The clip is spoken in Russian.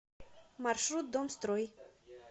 маршрут домстрой